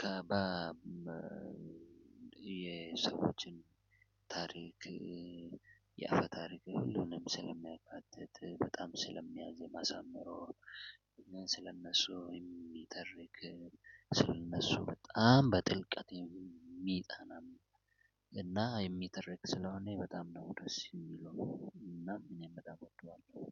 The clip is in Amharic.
ከባብ የሰዎችም ታሪክ የአፈ ታሪክ ሁሉንም ስለሚያካትት በጣም ስለሚያመዝን የማዛመረው እና ስለነሱ የሚተርክ ስለነሱ በጣም በጥልቀት የምጠና እና የሚተረክ ስለሆነ በጣም ነው ደስ የሚለው እና እኔም በጣም እወደዋለሁ።